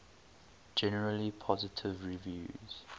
generally positive reviews